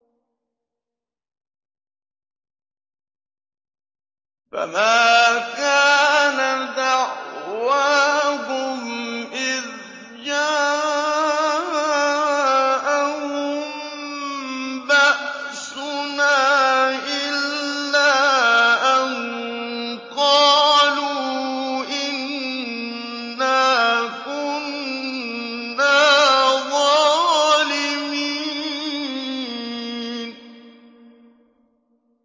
فَمَا كَانَ دَعْوَاهُمْ إِذْ جَاءَهُم بَأْسُنَا إِلَّا أَن قَالُوا إِنَّا كُنَّا ظَالِمِينَ